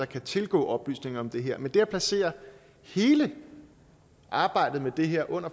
kan tilgå oplysninger om det her men det at placere hele arbejdet med det her under